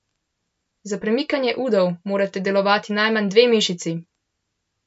Za premikanje udov morata delovati najmanj dve mišici.